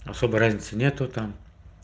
особой разницы нет там